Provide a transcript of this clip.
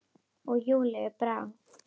Og Júlíu brá.